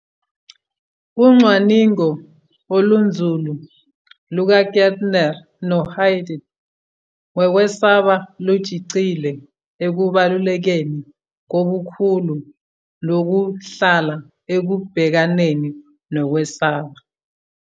Ucwaningo olunzulu lukaKeltner noHaidt ngokwesaba lugxile ekubalulekeni kobukhulu nokuhlala ekubhekaneni nokwesaba.